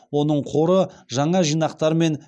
оның қоры жаңа жинақтармен